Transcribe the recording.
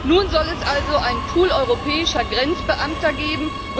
Nun soll es also einen Pool europäischer Grenzbeamter geben.